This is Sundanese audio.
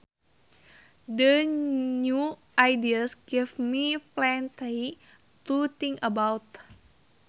The new ideas give me plenty to think about